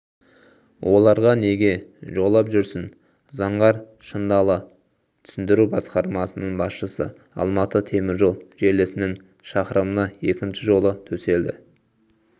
оларға неге жолап жүрсің заңғар шындали түсіндіру басқармасының басшысы алматы теміржол желісінің шақырымына екінші жолы төселді